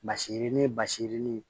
Basirinin basirin